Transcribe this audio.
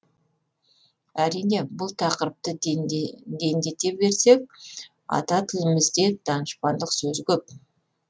әрине бұл тақырыпты дендете берсек ата тілімізде данышпандық сөз көп